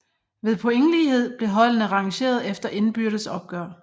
Ved pointlighed blev holdene rangeret efter indbyrdes opgør